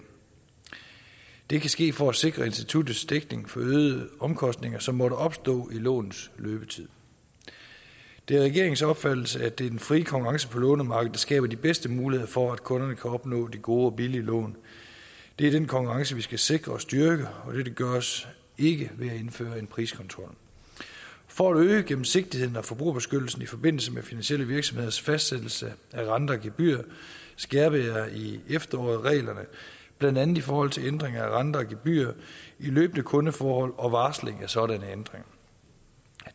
det kan ske for at sikre instituttets dækning for øgede omkostninger som måtte opstå i lånets løbetid det er regeringens opfattelse at det er den frie konkurrence på lånemarkedet der skaber de bedste muligheder for at kunderne kan opnå de gode og billige lån det er den konkurrence vi skal sikre og styrke og dette gøres ikke ved at indføre en priskontrol for at øge gennemsigtigheden og forbrugerbeskyttelsen i forbindelse med finansielle virksomheders fastsættelse af renter og gebyrer skærpede jeg i efteråret reglerne blandt andet i forhold til ændring af renter og gebyrer i løbende kundeforhold og varsling af sådanne ændringer